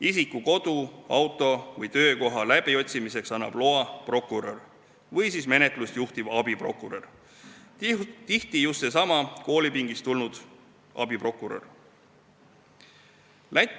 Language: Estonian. Isiku kodu, auto või töökoha läbiotsimiseks annab loa prokurör või menetlust juhtiv abiprokurör, tihti just seesama koolipingist tulnud abiprokurör.